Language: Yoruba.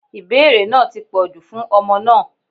Ìbéèrè náà ti pọ̀jù fún ọmọ náà.